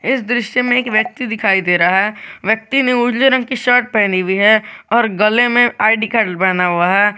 इस दृश्य में एक व्यक्ति दिखाई दे रहा है व्यक्ति ने उजले रंग की शर्ट पहनी हुई है और गले में आई_डी कार्ड बना हुआ है।